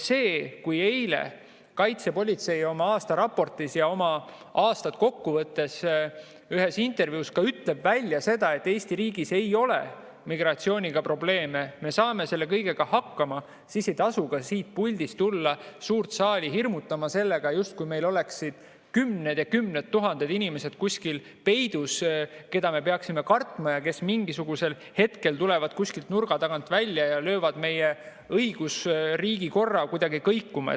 Kui eile kaitsepolitsei oma aastaraportis aasta kokku võttis ja ütles ühes intervjuus välja, et Eesti riigis ei ole migratsiooniga probleeme, me saame selle kõigega hakkama, siis ei tasu ka siit puldist tulla suurt saali hirmutama sellega, justkui meil oleksid kuskil peidus kümned ja kümned tuhanded inimesed, keda me peaksime kartma ja kes mingisugusel hetkel tulevad nurga tagant välja ja löövad meie õigusriigi korra kuidagi kõikuma.